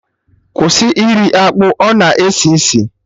Kwụsị iri akpụ, ọ na esi isi!